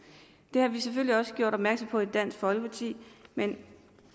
det har vi selvfølgelig også gjort opmærksom på i dansk folkeparti men